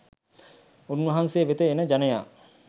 උන්වහන්සේ වෙත එන ජනයා